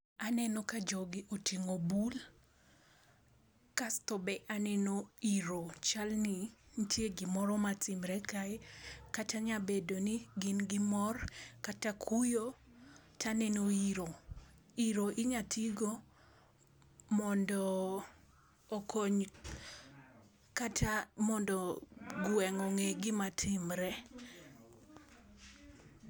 Aneno ka jogi oting'o bul, kasto be aneno iro, chal ni nitie gimoro matimre kae, kata nyalo bedo ni gin gi mor kata kuyo. To aneno iro. Iro inyalo ti godo mondo okony, mondo kata gweng' ong'e gima timre.